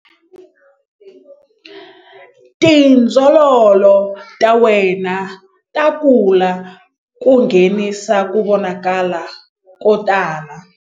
Tindzololo ta wena ta kula ku nghenisa ku vonakala ko tala.